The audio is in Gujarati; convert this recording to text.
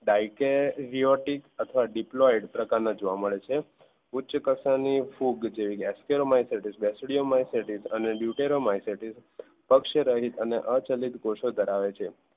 Dikaryotic અથવા diploid પ્રકાર ના જોવા મળે છે ઉચ્ચકક્ષા ની ફૂગ ascomycetous basidiomycetes deuteromycetes પ્રકાર ના જોવા મળે છે પક્ષ રહિત અને અચલિત કોષો ધરાવે છે